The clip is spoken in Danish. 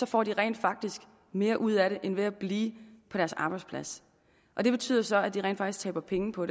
får de rent faktisk mere ud af det end ved at blive på deres arbejdsplads det betyder så at de rent faktisk taber penge på